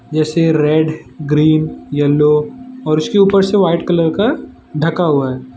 जैसे red green yellow और उसके ऊपर से व्हाइट कलर का ढका हुआ है।